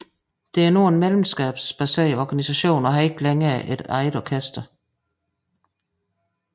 Det er nu en medlemskabsbaseret organisation og har ikke længere et eget orkester